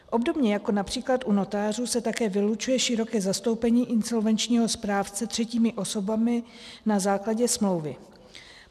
Obdobně jako například u notářů se také vylučuje široké zastoupení insolvenčního správce třetími osobami na základě smlouvy.